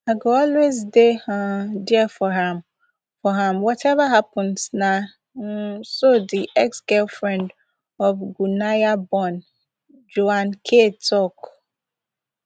i go always dey um dia for am for am wateva happens na um so di exgirlfriend of guyanaborn joan k tok